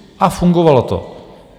A fungovalo to.